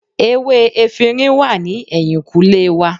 Ewé efinrin wà ní ẹ̀yìnkùlé wa